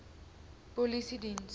polisiediens